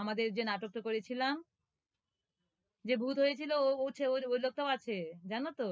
আমাদের যে নাটকটা করেছিলাম যে ভূত হয়েছিল, ও ও সে, ওই লোকটাও আছে। জানো তো?